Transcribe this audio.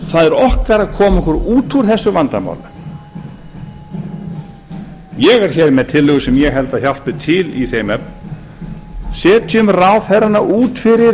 það er okkar að koma okkur út úr þessu vandamáli ég er með tillögu sem ég held að hjálpi til í þeim efnum setjum ráðherrana út fyrir